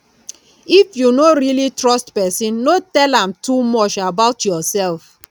if you no really trust person no tell am too much about yourself